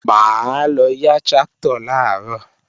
Mà á lọ yá tráktọ̀ làárọ̀